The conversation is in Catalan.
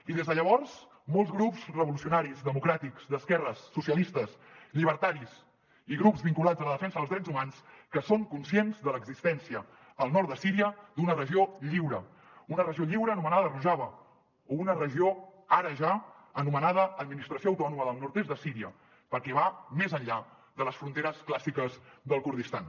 i des de llavors molts grups revolucionaris democràtics d’esquerres socialistes llibertaris i grups vinculats a la defensa dels drets humans són conscients de l’existència al nord de síria d’una regió lliure una regió lliure anomenada rojava o una regió ara ja anomenada administració autònoma del nord est de síria perquè va més enllà de les fronteres clàssiques del kurdistan